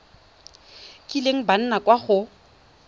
kileng ba nna kwa go